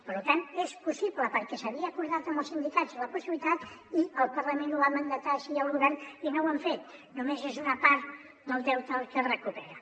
per tant era possible perquè s’havia acordat amb els sindicats la possibilitat i el parlament ho va mandatar així al govern i no ho han fet només és una part del deute el que es recupera